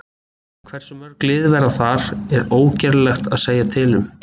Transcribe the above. Hversu mörg lið verða þar er ógerlegt að segja til um.